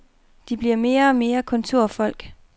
De bliver mere og mere kontorfolk.